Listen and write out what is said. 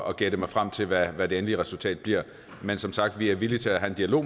og gætte mig frem til hvad hvad det endelige resultat bliver men som sagt vi er villige til at have en dialog